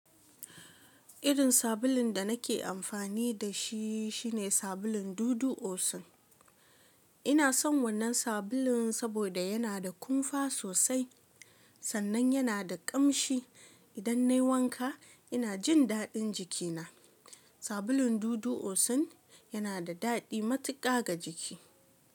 Irin sabulun da nake amfani da shi shine sabulun dudu osin. Ina son wannan sabulun saboda yana da kumfa sosai sannan yana da ƙamshi. Idan na yi wanka ina jin daɗin jiki na. Sabulun dudu osin yana da daɗi matuƙa ga jiki.